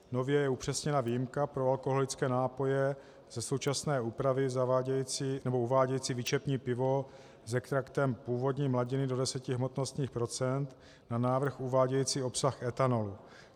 Nově je upřesněna výjimka pro alkoholické nápoje ze současné úpravy uvádějící výčepní pivo s extraktem původní mladiny do 10 hmotnostních procent na návrh uvádějící obsah etanolu.